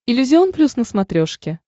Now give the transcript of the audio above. иллюзион плюс на смотрешке